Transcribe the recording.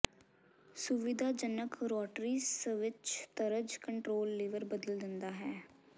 ਸੁਵਿਧਾਜਨਕ rotary switch ਤਰਜ਼ control lever ਬਦਲ ਦਿੰਦਾ ਹੈ